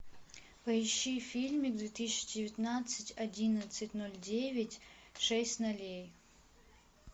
поищи фильмик две тысячи девятнадцать одиннадцать ноль девять шесть нолей